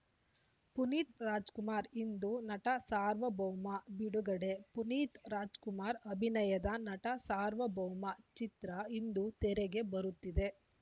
ಪುನೀತ್‌ ರಾಜ್‌ಕುಮಾರ್‌ ಇಂದು ನಟ ಸಾರ್ವಭೌಮ ಬಿಡುಗಡೆ ಪುನೀತ್‌ ರಾಜ್‌ಕುಮಾರ್‌ ಅಭಿನಯದ ನಟ ಸಾರ್ವಭೌಮ ಚಿತ್ರ ಇಂದು ತೆರೆಗೆ ಬರುತ್ತಿದೆ